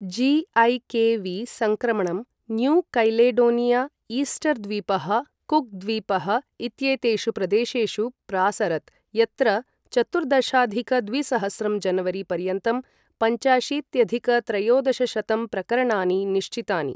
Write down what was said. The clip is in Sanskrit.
ज़ि.ऐ.के.वि. सङ्क्रमणं न्यू कैलेडोनिया, ईस्टर् द्वीपः, कुक् द्वीपः इत्येतेषु प्रदेशेषु प्रासरत्, यत्र चतुर्दशाधिक द्विसहस्रं जनवरी पर्यन्तं पञ्चाशीत्यधिक त्रयोदशशतं प्रकरणानि निश्चितानि।